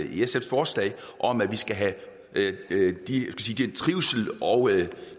i sfs forslag om at vi skal have trivsel og